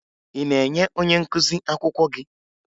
Ị na-enye onye nkụzi akwụkwọ gị?